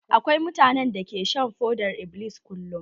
Akwai mutanen da ke shan fodar-iblis kullum.